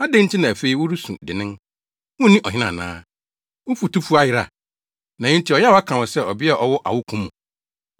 Adɛn nti na afei woresu dennen, wunni ɔhene ana? Wo futufo ayera, na enti ɔyaw aka wo sɛ ɔbea a ɔwɔ awoko mu?